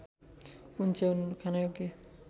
कुन च्याउ खानयोग्य